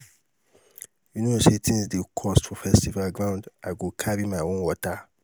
you know sey tins dey cost for festival ground i go carry my own water.